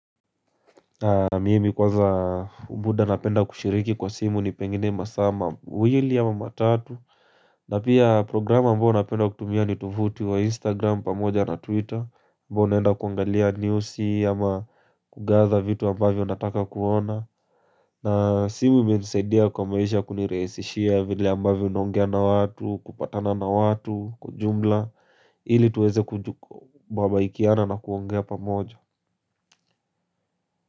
Mimi kwanza muda napenda kushiriki kwa simu ni pengine masaa mawilli ama matatu. Na pia programa ambayo napenda kutumia ni tuvuti wa instagram pamoja na twitter ambao naenda kuangalia newsi ama kugaza vitu ambavyo nataka kuona. Na simu imenisaidia kwa maisha kunirehesishia vile ambavyo naongea na watu kupatana na watu kwa ujumla. Ili tuweze kubabaikiana na kuongea pamoja.